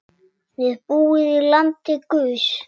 Þið búið í landi guðs.